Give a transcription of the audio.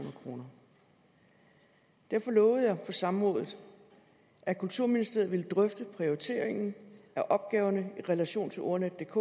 kroner derfor lovede jeg på samrådet at kulturministeriet ville drøfte prioriteringen af opgaverne i relation til ordnetdk